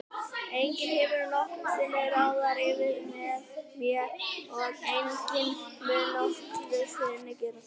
Enginn hefur nokkru sinni ráðið yfir mér og enginn mun nokkru sinni gera það.